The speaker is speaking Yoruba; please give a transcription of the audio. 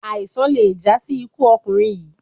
Aisan le ja si iku ọkunrin yii